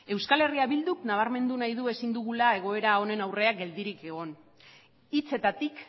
eh bilduk nabarmendu nahi du ezin dugula egoera honen aurrean geldirik egon hitzetatik